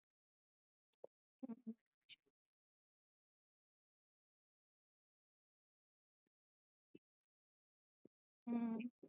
ਹੂ